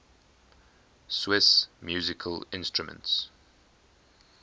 swiss musical instruments